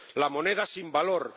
la moneda, sin valor